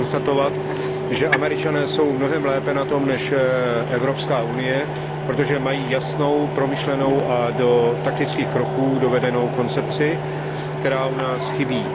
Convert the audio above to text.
Mohu konstatovat, že Američané jsou na tom mnohem lépe než Evropská unie, protože mají jasnou, promyšlenou a do taktických kroků dovedenou koncepci, která u nás chybí.